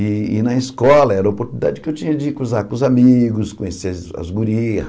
E e na escola era uma oportunidade que eu tinha de ir com os a os amigos, conhecer as gurias.